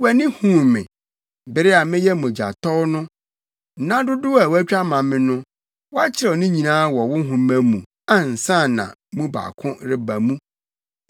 wʼani huu me, bere a meyɛ mogyatɔw no. Nna dodow a woatwa ama me no, wɔakyerɛw ne nyinaa wɔ wo nhoma mu ansa na mu baako reba mu.